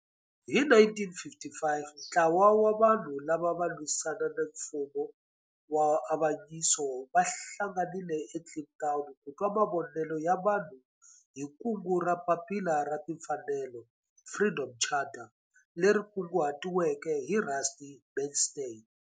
Hi 1955 ntlawa wa vanhu lava ava lwisana na nfumo wa avanyiso va hlanganile eKliptown ku twa mavonelo ya vanhu hi kungu ra Papila ra Timfanelo, Freedom Charter, leri kunguhatiweke hi Rusty Bernstein.